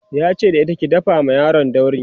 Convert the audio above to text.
yace da ita "ki dafa ma yaron dauri!"